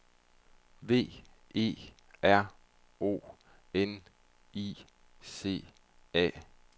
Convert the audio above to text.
V E R O N I C A